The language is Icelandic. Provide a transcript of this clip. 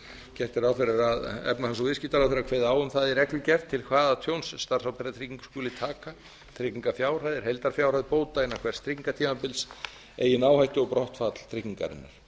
gert er ráð fyrir að efnahags og viðskiptaráðherra kveði á um það í reglugerð til hvaða tjóns starfsábyrgðartrygging skuli taka tryggingarfjárhæðir heildarfjárhæð bóta innan hvers tryggingartímabils eigin áhættu og brottfall tryggingarinnar